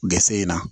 Gse in na